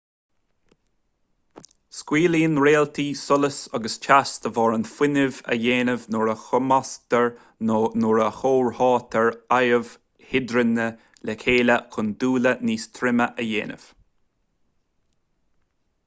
scaoileann réaltaí solas agus teas de bharr an fhuinnimh a dhéanamh nuair a chumasctar nó nuair a chomhtháthaítear adaimh hidrigine le chéile chun dúile níos troime a dhéanamh